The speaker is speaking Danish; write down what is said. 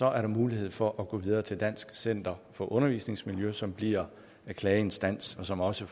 er der mulighed for at gå videre til dansk center for undervisningsmiljø som bliver klageinstans og som også